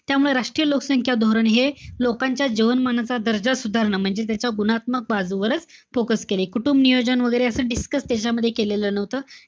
त्यामुळे राष्ट्रीय लोकसंख्या धोरण हे लोकांच्या जीवनमानाचा दर्जा सुधारणं म्हणजे त्याच गुणात्मक बाजूवरच focus केलंय. कुटुंबनियोजन वैगेरे असं discuss त्याच्यामध्ये केलेलं नव्हतं.